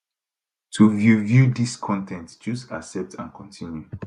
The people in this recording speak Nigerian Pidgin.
to view view dis con ten t choose accept and continue